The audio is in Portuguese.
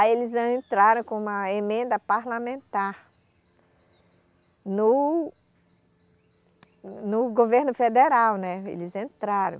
Aí eles entraram com uma emenda parlamentar no, no governo federal, né, eles entraram.